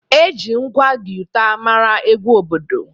Eji ngwa guiter mara egwu obodo